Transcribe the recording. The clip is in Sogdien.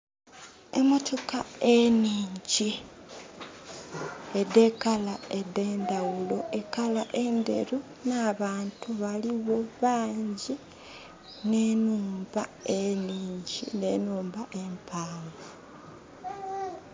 Emotoka eningi edelangi edendawulo, elangi enderu. Nabantu baliwo bangi ne nhumba eningi ne nhumba empanvu